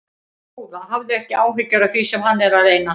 Góða, hafðu ekki áhyggjur af því sem hann er að reyna.